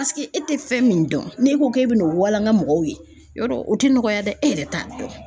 Paseke e tɛ fɛn min dɔn n'e ko k'e bɛ n'o walanga mɔgɔw ye , yɔrɔ o tɛ nɔgɔya dɛ, e yɛrɛ t'a dɔn .